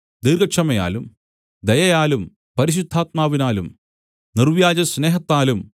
ദീർഘക്ഷമയാലും ദയയാലും പരിശുദ്ധാത്മാവിനാലും നിർവ്യാജസ്നേഹത്താലും